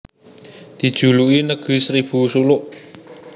Dijuluki Negeri Seribu Suluk